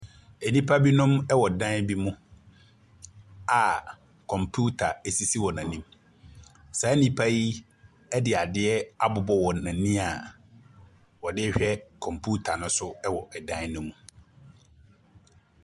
Nnipa binom wɔ dan bi mu a kɔmputa sisi wɔn anim. Saa nnipa yi de adeɛ abobɔ wɔn ani a wɔde rehwɛ kɔmputa no so wɔ dan no mu.